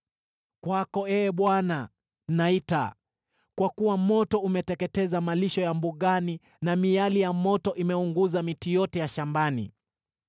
Kwako, Ee Bwana , naita, kwa kuwa moto umeteketeza malisho ya mbugani na miali ya moto imeunguza miti yote shambani.